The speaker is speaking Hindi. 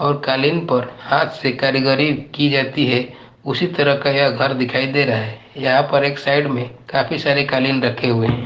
और कालीन पर हाथ से कारीगरी की जाती है। उसी तरह का यहां घर दिखाई दे रहा है। यहां पर एक साइड में काफी सारे कालीन रखे हुए हैं।